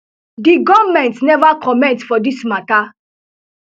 di goment neva comment for dis mata